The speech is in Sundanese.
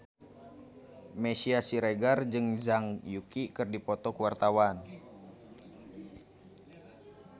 Meisya Siregar jeung Zhang Yuqi keur dipoto ku wartawan